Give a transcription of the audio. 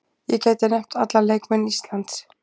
Ég gæti nefnt alla leikmenn Íslands.